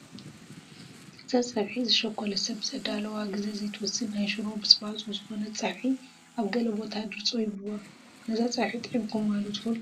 እዛ ፀብሒ ዝሸኾለ ሰብ ዘዳልዎ ግዜ ዘይትወስድ ናይ ሽሮ ብፅባፆ ዝኾነት ፀብሒ ኣብ ገለ ቦታ ድርፆ ይብልዋ፡፡ ነዛ ፀብሒ ጥዒምኩምዋ ዶ ትፈልጡ?